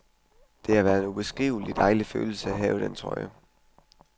Det har været en ubeskriveligt dejlig følelse at have den trøje.